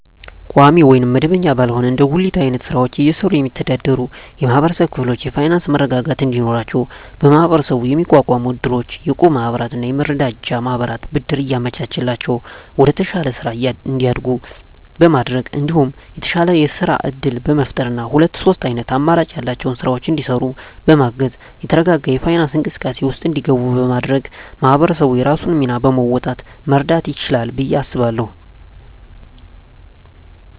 ቋሚ ወይም መደበኛ ባልሆነ እንደ ጉሊት አይነት ስራወችን እየሰሩ የሚስተዳደሩ የማህበረሰብ ክፍሎች የፋይናንሰ መረጋጋት እንዲኖራቸው በመሀበረሰቡ የሚቋቋሙ እድሮች፣ የእቁብ ማህበራትና የመረዳጃ ማህበራት ብድር እያመቻቸላቸው ወደተሻለ ስራ እንዲያድጉ በማድረግ እንዲሁም የተሻለ የስራ እድል በመፍጠርና ሁለት ሶስት አይነት አማራጭ ያላቸውን ስራወች እንዲሰሩ በማገዝ የተረጋጋ የፋይናንስ እንቅስቃሴ ውስጥ እንዲገቡ በማድረግ ማህበረሰቡ የራሱን ሚና በመወጣት መርዳት ይችላል ብየ አስባለሁ።